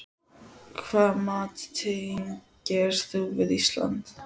Hvaða mat tengir þú við Ísland?